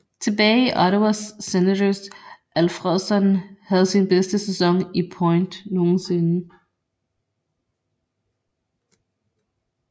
Tilbage i Ottawa Senators Alfredsson havde sin bedste sæson i point nogensinde